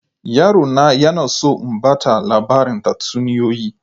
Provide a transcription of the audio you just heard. Yaro na yana so in ba ta labarin tatsuniyoyi.